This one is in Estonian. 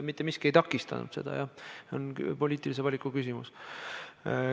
Mitte miski ei takistanud seda, see on poliitilise valiku küsimus.